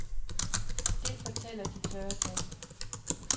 Det fortæller de tørre tal.